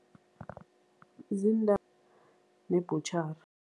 Nebhutjhari.